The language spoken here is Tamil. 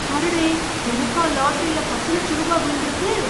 அடடே! எனக்கா லாட்டரில பத்து லட்ச ரூபா விழுந்துருக்கு!